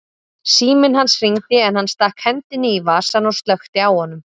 Síminn hans hringdi en hann stakk hendinni í vasann og slökkti á honum.